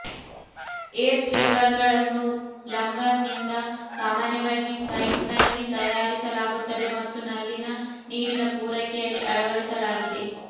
air ಚೇಂಬರ್ಗಳನ್ನು ಪ್ಲಂಬರ್ನಿಂದ ಸಾಮಾನ್ಯವಾಗಿ ಸೈಟ್ನಲ್ಲಿ ತಯಾರಿಸಲಾಗುತ್ತದೆ ಮತ್ತು ನಲ್ಲಿನ ನೀರಿನ ಪೂರೈಕೆಯಲ್ಲಿ ಅಳವಡಿಸಲಾಗಿದೆ